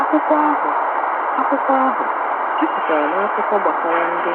Akwụkwọ ahụ Akwụkwọ ahụ jupụtara n’akụkọ gbasara ndị